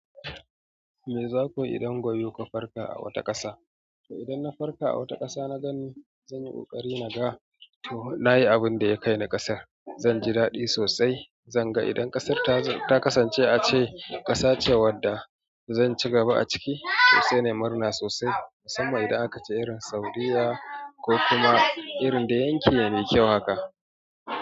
Me zaku yi idan goyo kuka farka a wata ƙasa? To idan na farka a wata ƙasa, na ganni zan yi ƙoƙari na ga to na yi abin da ya kai ni ƙasar. Zan ji daɗi sosai. Zan ga idan ƙasar ta kasance a ce ƙasa ce wadda zan ci gaba a ciki, to sai na murna sosai. Musamman idan aka ce irin Saudiyya ko kuma irin da yanki ya me kyau haka.